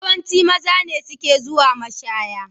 Yawanci maza ne suke zuwa mashaya.